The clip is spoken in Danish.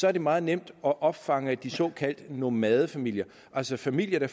er det meget nemt at opfange de såkaldte nomadefamilier altså familier